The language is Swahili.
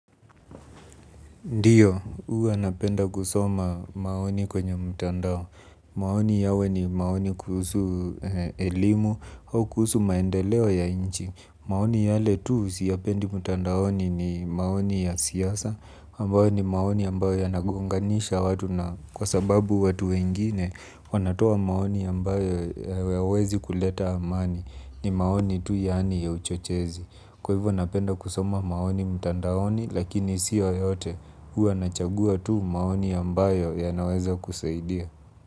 Ndio, huwa napenda kusoma maoni kwenye mtandao. Maoni yawe ni maoni kuhusu elimu au kuhusu maendeleo ya nchi. Maoni yale tu siyapendi mtandaoni ni maoni ya siasa, ambayo ni maoni ambayo yanagonganisha watu na kwa sababu watu wengine, wanatoa maoni ambayo hayawezi kuleta amani, ni maoni tu yaani ya uchochezi. Kwa hivyo napenda kusoma maoni mtandaoni, lakini sio yote. Huwa nachagua tu maoni ambayo yanaweza kusaidia.